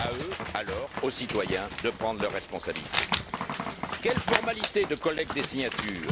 À eux alors, aux citoyens, de prendre leurs responsabilités. Quelles formalités de collecte des signatures?